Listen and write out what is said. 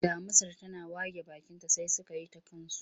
Damusar tana wage bakinta sai suka yi ta kansu.